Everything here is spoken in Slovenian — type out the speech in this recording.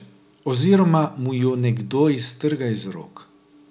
Oziroma mu jo nekdo iztrga iz rok.